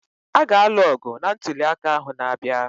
A ga-alụ ọgụ na ntụliaka ahụ n'abịa